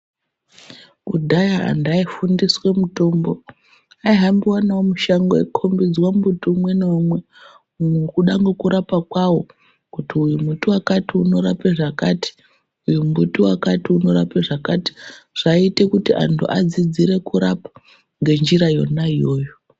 Kudhara antu aifundiswa mutombo, aihambiwa nawo mushango eikombedzwe mumbuti umwe neumwe kuda nekurapa kwawo kuti mumbuti wakati unorape zvakati uyu wakati unorape zvakati zvaiita kuti vantu vadzidze kurapa nenzira yona iyoyo.